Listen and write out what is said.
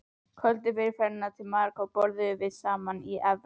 Kvöldið fyrir ferðina til Marokkó borðuðum við saman í efra